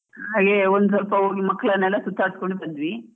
ಹಾಗೆ ಒಂದ್ ಸ್ವಲ್ಪ ಹೋಗಿ ಮಕ್ಕಳ್ನೆಲ್ಲ ಸುತ್ತಾಡಿಸ್ಕೊಂಡ್ ಬಂದ್ವಿ.